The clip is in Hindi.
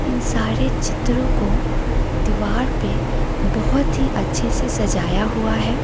इन सारे चित्रों को दीवार पे बहोत ही अच्छे से सजाया हुआ है।